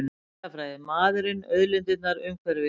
Landafræði, maðurinn, auðlindirnar, umhverfið.